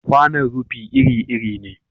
Kwanon rufi iri-iri ne.